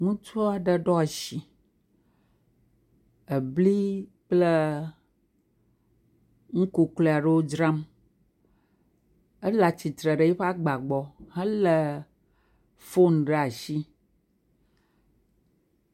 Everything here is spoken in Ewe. Ŋutsu aɖe ɖo ashi. Ebli kple nu kuklui aɖewo dzram. Ele atsitre ɖe eƒe agba gbɔ helé fonu ɖe ashi.